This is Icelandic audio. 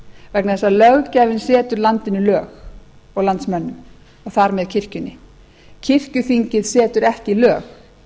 vegna þess að löggjafinn setur landinu lög og landsmönnum og þar með kirkjunni kirkjuþing setur ekki lög